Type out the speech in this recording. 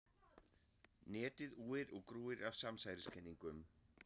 Netið úir og grúir af samsæriskenningum.